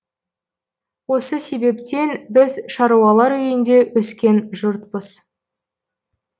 осы себептен біз шаруалар үйінде өскен жұртпыз